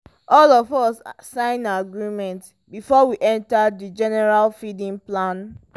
all of us sign agreement before we enter the general feeding plan.